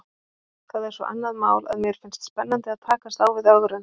Það er svo annað mál að mér finnst spennandi að takast á við ögrun.